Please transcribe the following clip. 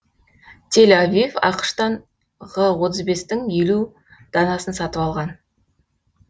тель авив ақш тан ғ отыз бестің елу данасын сатып алған